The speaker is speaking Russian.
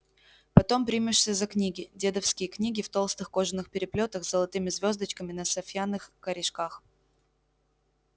потом примешься за книги дедовские книги в толстых кожаных переплётах с золотыми звёздочками на сафьянных корешках